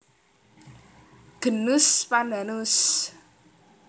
Genus Pandanus